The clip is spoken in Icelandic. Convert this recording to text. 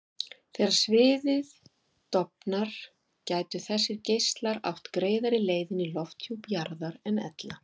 Þegar sviðið dofnar gætu þessir geislar átt greiðari leið inn í lofthjúp jarðar en ella.